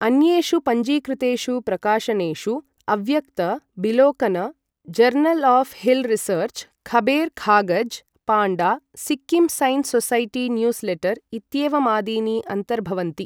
अन्येषु पञ्जीकृतेषु प्रकाशनेषु अव्यक्त, बिलोकन, जर्नल् आफ् हिल् रिसर्च, खबेर खागज, पाण्डा, Sikkim science society newsletter इत्येवमादीनि अन्तर्भवन्ति।